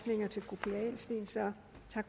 sørge